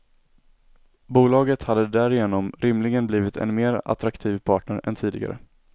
Bolaget hade därigenom rimligen blivit en mer attraktiv partner än tidigare.